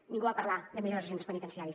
ningú va parlar de millores de centres penitenciaris